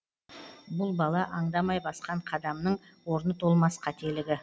бұл бала аңдамай басқан қадамның орны толмас қателігі